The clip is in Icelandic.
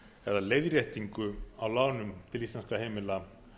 eða leiðréttingu á lánum til íslenskra heimila